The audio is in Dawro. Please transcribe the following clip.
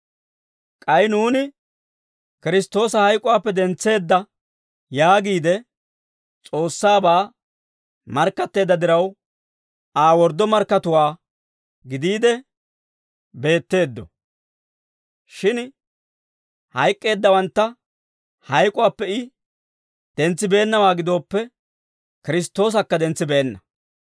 K'ay nuuni, «Kiristtoosa hayk'uwaappe dentseedda» yaagiide S'oossaabaa markkatteedda diraw, Aa worddo markkatuwaa gidiide beetteeddo. Shin hayk'k'eeddawantta hayk'uwaappe I dentsibeennawaa gidooppe, Kiristtoosakka dentsibeenna.